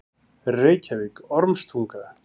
Reykjavík: Ormstunga.